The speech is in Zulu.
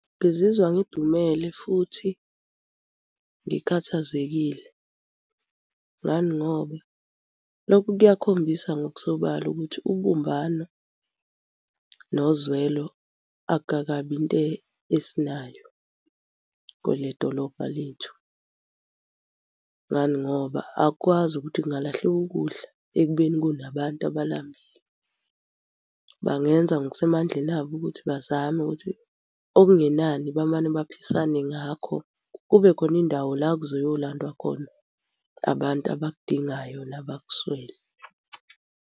Ngizizwa ngidumele futhi ngikhathazekile. Ngani ngoba lokhu kuyakhombisa ngokusobala ukuthi ubumbano nozwelo akukakabi into esinayo kwele dolobha lethu. Ngani ngoba asikwazi ukuthi kungalahleka ukudla ekubeni kunabantu abalambile. Bangenza ngokusemandleni abo ukuthi bazame ukuthi okungenani bamane baphisane ngakho kube khona indawo la okuzoyolandwa khona abantu abakudingayo nabakuswele.